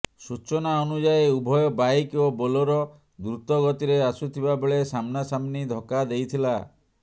ସୂଚନା ଅନୁଯାୟୀ ଉଭୟ ବାଇକ୍ ଓ ବୋଲେରୋ ଦୃତ ଗତିରେ ଆସୁଥିବା ବେଳେ ସାମ୍ନାସାମ୍ନି ଧକ୍କା ଦେଇଥିଲା